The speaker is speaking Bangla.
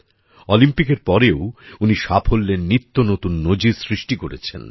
অলিম্পিকের পরেও উনি সাফল্যের নিত্যনতুন নজির সৃষ্টি করেছেন